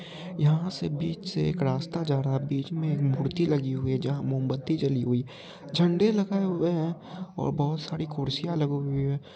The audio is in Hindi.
यहा से बीच से एक रास्ता जा रहा बीच में एक मूर्ति लगी हुई है जहा मोमबत्ती जली हुई है झंडे लगाए हुए है और बहुत सारी कुर्सियाँ लगी हुई है।